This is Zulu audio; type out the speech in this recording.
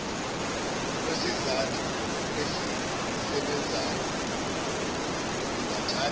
kwesithako esisebenzayo kungathatha